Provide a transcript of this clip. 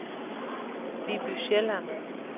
Viby Sjælland